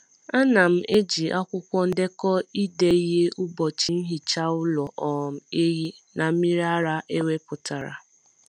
A na m eji akwụkwọ ndekọ ide ihe ụbọchị nhicha ụlọ um ehi na mmiri ara ewepụtara.